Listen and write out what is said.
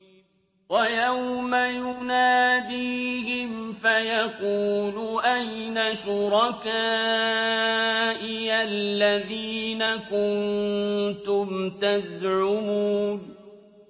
وَيَوْمَ يُنَادِيهِمْ فَيَقُولُ أَيْنَ شُرَكَائِيَ الَّذِينَ كُنتُمْ تَزْعُمُونَ